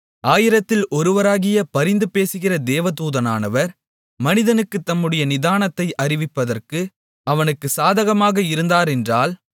ஆயிரத்தில் ஒருவராகிய பரிந்துபேசுகிற தேவ தூதனானவர் மனிதனுக்குத் தம்முடைய நிதானத்தை அறிவிப்பதற்கு அவனுக்கு சாதகமாக இருந்தாரென்றால்